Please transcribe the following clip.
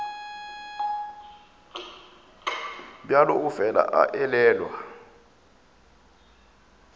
bjalo o fela a elelwa